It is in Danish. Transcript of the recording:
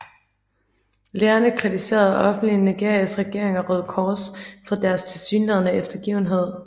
Lægerne kritiserede offentligt Nigerias regering og Røde Kors for deres tilsyneladende eftergivenhed